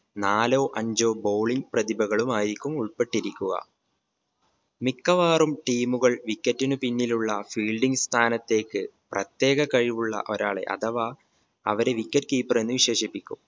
നാലോ അഞ്ചോ bowling പ്രതിഭകളുമായിരിക്കും ഉൾപ്പെട്ടിരിക്കുക മിക്കവാറും team ഉകൾ wicket ന് പിന്നിലുള്ള fielding സ്ഥാനത്തേക്ക് പ്രത്യേക കഴിവുള്ള ഒരാളെ അഥവാ അവരെ wicket keeper എന്ന് വിശേഷിപ്പിക്കും